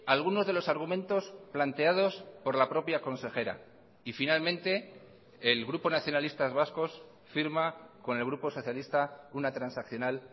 algunos de los argumentos planteados por la propia consejera y finalmente el grupo nacionalistas vascos firma con el grupo socialista una transaccional